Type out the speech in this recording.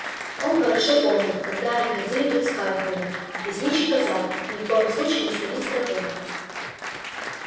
он хорошо помнил когда они ходили тут с хагридом лесничий казал им ни в коем случае не сходить с тропы